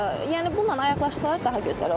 Yəni bununla ayaqlaşsalar daha gözəl olar.